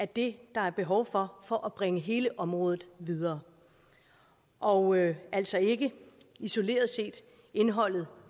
det der er behov for for at bringe hele området videre og altså ikke isoleret set indholdet